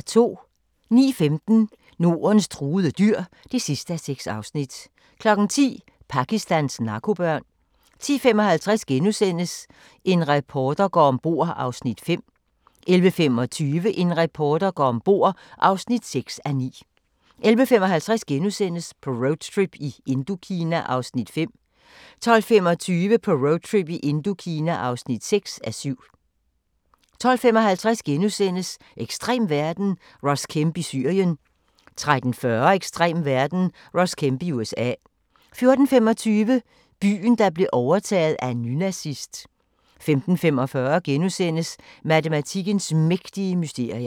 09:15: Nordens truede dyr (6:6) 10:00: Pakistans narkobørn 10:55: En reporter går om bord (5:9)* 11:25: En reporter går om bord (6:9) 11:55: På roadtrip i Indokina (5:7)* 12:25: På roadtrip i Indokina (6:7) 12:55: Ekstrem verden – Ross Kemp i Syrien * 13:40: Ekstrem verden – Ross Kemp i USA 14:25: Byen, der blev overtaget af en nynazist 15:45: Matematikkens mægtige mysterier *